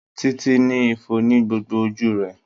Títí ní ifo ní gbogbo ojú rẹ̀.